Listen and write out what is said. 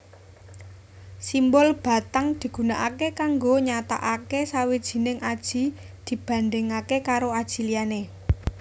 Simbol batang digunakaké kanggo nyatakake sawijining aji dibandingake karo aji liyané